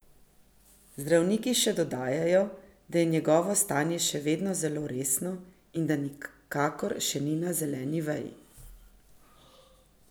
Zdravniki še dodajajo, da je njegovo stanje še vedno zelo resno in da nikakor še ni na zeleni veji.